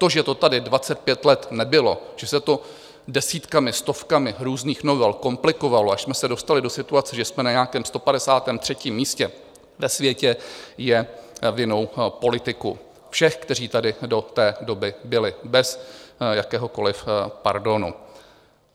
To, že to tady 25 let nebylo, že se to desítkami, stovkami různých novel komplikovalo, až jsme se dostali do situace, že jsme na nějakém 153. místě ve světě, je vinou politiků, všech, kteří tady do té doby byli, bez jakéhokoliv pardonu.